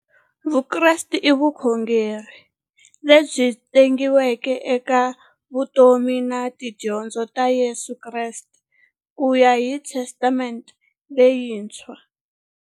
Vukreste i vukhongeri lebyi tshegiweke eka vutomi na tidyondzo ta Yesu Kreste kuya hi Testamente leyintshwa.